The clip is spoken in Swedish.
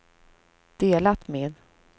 delat med